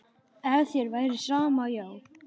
Ef þér væri sama, já.